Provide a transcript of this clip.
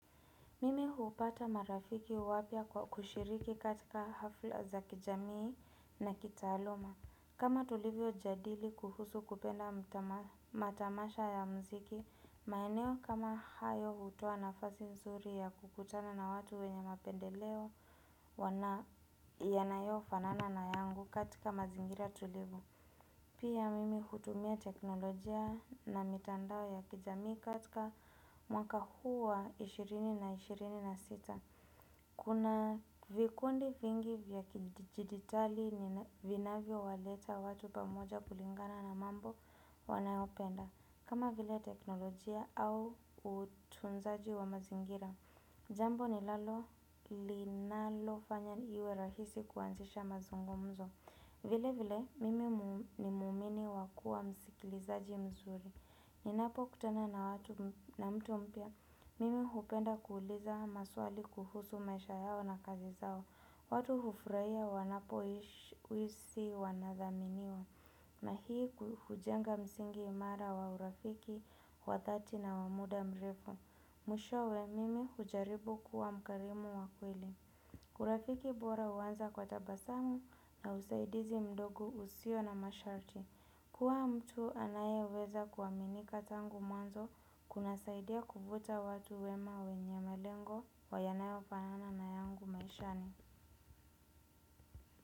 Mimi hupata marafiki wapya kwa kushiriki katika hafla za kijamii na kitaaluma. Kama tulivyo jadili kuhusu kupenda matamasha ya mziki, maeneo kama hayo hutoa nafasi nzuri ya kukutana na watu wenye mapendeleo wana yanayo fanana na yangu katika mazingira tulivu. Pia mimi hutumia teknolojia na mitandao ya kijamii katika mwaka huu wa ishirini na ishirini na sita. Kuna vikundi vingi vya kijiditali ni vinavyo waleta watu pamoja kulingana na mambo wanayopenda. Kama vile teknolojia au utunzaji wa mazingira. Jambo ni lalo linalo fanya iwe rahisi kuanzisha mazungumzo. Vile vile, mimi ni muumini wakuwa msikilizaji mzuri. Ninapo kutana na mtu mpya, mimi hupenda kuuliza maswali kuhusu maisha yao na kazi zao. Watu hufraia wanapoisi wanadhaminiwa. Na hii hujenga msingi imara wa urafiki, wa dhati na wa muda mrefu. Mwishowe, mimi hujaribu kuwa mkarimu wa kweli. Urafiki bora uanza kwa tabasamu na usaidizi mdogo usio na masharti. Kuwa mtu anayeweza kuaminika tangu mwanzo. Kunasaidia kuvuta watu wema wenye melengo yanayo fanana na yangu maishani.